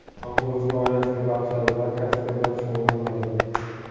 Ammo o‘zini oilasiga bag‘ishladi va kasbi bilan shug‘ullanmadi.